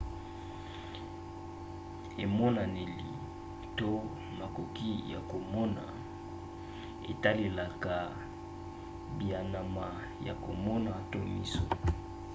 emonaneli to makoki ya komona etalelaka bianama ya komona to miso